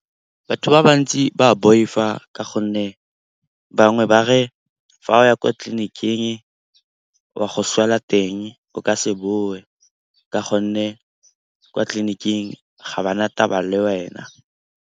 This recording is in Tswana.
Batho ba bantsi ba boifa ka gonne bangwe ba re fa o ya kwa tleliniking wa go swela teng, o ka se boe ka gonne kwa tleliniking ga ba na taba le wena.